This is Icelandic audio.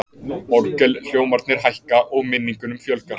Orgelhljómarnir hækka, og minningunum fjölgar.